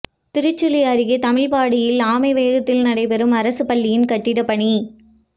திருச்சுழி அருகே தமிழ்பாடியில் ஆமை வேகத்தில் நடைபெறும் அரசுப்பள்ளியின் கட்டிட பணி